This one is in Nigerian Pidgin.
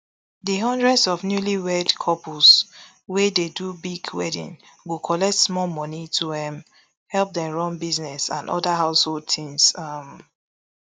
di hundreds of newlywed couples wey dey do big wedding go collect small money to um help dem run business and oda household tins um